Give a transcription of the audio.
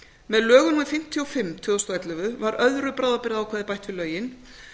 með lögum númer fimmtíu og fimm tvö þúsund og ellefu var öðru bráðabirgðaákvæði bætt við lögin